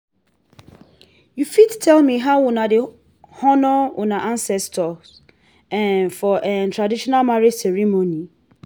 you fit tell me how una dey honour una ancestors um for um traditional marriage ceremony?